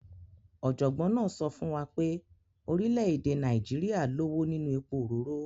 Ọ̀jọ̀gbọ́n náà sọ fún wa pé orílẹ̀ èdè Nàíjíríà lówó nínú epo òróró.